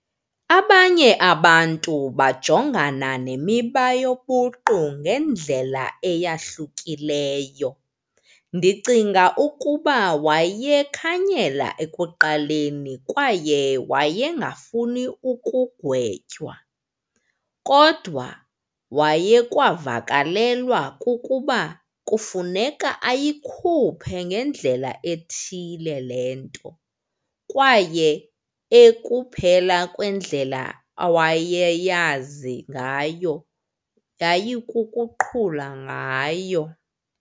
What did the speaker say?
Abanye abantu bajongana nemiba yobuqu ngendlela eyahlukileyo. Ndicinga ukuba wayekhanyela ekuqaleni kwaye wayengafuni ukugwetywa. Kodwa wayekwavakalelwa kukuba kufuneka ayikhuphe ngendlela ethile le nto kwaye ekuphela kwendlela awayeyazi ngayo yayikukuqhula ngayo.